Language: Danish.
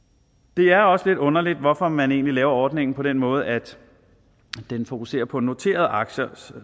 det er også lidt underligt hvorfor man egentlig laver ordningen på den måde at den fokuserer på noterede aktier